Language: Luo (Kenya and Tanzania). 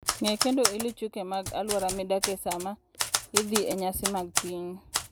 Ng'e kendo iluw chike mag alwora midakie sama idhi e nyasi mag pinyu.